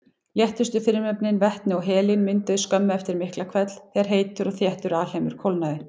Léttustu frumefnin, vetni og helín, mynduðust skömmu eftir Miklahvell þegar heitur og þéttur alheimur kólnaði.